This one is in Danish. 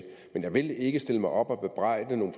men jeg vil ikke stille mig op og bebrejde nogle